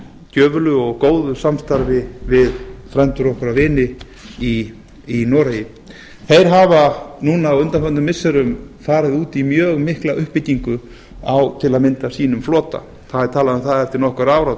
gjöfulu og góðu samstarfi við frændur okkar og vini í noregi þeir hafa núna á undanförnum missirum farið út í mjög mikla uppbyggingu á til að mynda sínum flota það er talað um það að eftir nokkur ár